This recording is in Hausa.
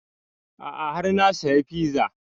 A'a har na saya fiza